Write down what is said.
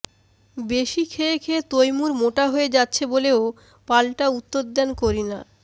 বেশি খেয়ে খেয়ে তৈমুর মোটা হয়ে যাচ্ছে বলেও পালটা উত্তর দেন করিনা